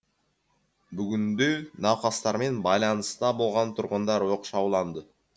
бүгінде науқастармен байланыста болған тұрғындар оқшауланды